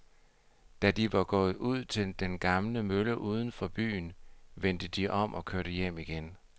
Da de var kommet ud til den gamle mølle uden for byen, vendte de om og kørte hjem igen.